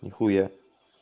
нихуя